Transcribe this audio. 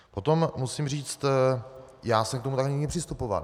Potom musím říct, já jsem k tomu tak nikdy nepřistupoval.